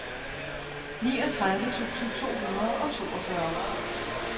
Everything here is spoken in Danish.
niogtredive tusind to hundrede og toogfyrre